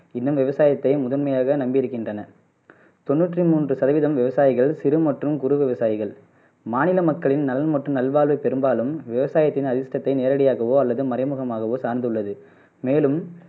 இன்னும் விவசாயத்தை முதன்மையாகவே நம்பி இருக்கின்றனர் தொண்ணுற்று மூன்று சதவிகிதம் விவசாயிகள் சிறு மற்றும் குறு விவசாயிகள் மாநில மக்களின் நலன் மற்றும் வாழ்வு பெரும்பாலும் விவசாயத்தின் அதிஷ்டத்தை நேரடியாகவோ அல்லது மறைமுகமாகவோ சார்ந்துள்ளது மேலும்